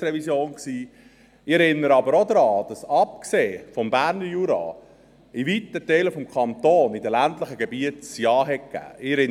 Ich erinnere aber auch daran, dass – abgesehen vom Berner Jura – in weiten Teilen des Kantons die ländlichen Gebiete Ja gesagt haben.